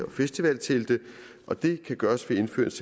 og festivaltelte og det kan gøres ved indførelse